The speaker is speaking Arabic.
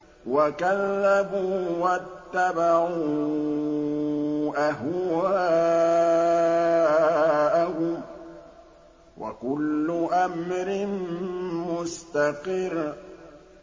وَكَذَّبُوا وَاتَّبَعُوا أَهْوَاءَهُمْ ۚ وَكُلُّ أَمْرٍ مُّسْتَقِرٌّ